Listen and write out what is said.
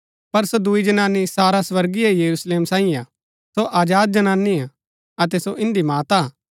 पर सो दुई जनानी सारा स्वर्गीय यरूशलेम सांईये हा सो आजाद जनानी हा अतै सो इन्दी माता हा